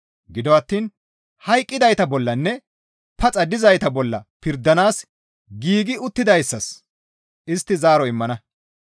Gido attiin hayqqidayta bollanne paxa dizayta bolla pirdanaas giigi uttidayssas istti zaaro immana.